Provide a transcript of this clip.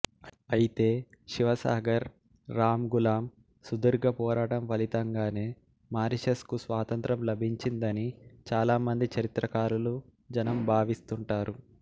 ఐతే శివసాగర్ రాంగులామ్ సుదీర్ఘ పోరాటం ఫలితంగానే మారిషస్ కు స్వాతంత్ర్యం లభించిందని చాలామంది చరిత్రకారులు జనం భావిస్తూంటారు